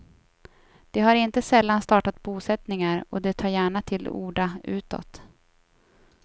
De har inte sällan startat bosättningar och de tar gärna till orda utåt.